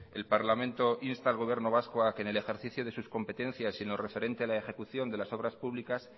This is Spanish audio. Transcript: el parlamento insta al gobierno vasco a que en el ejercicio de sus competencias y en lo referente a la ejecución de las obras públicas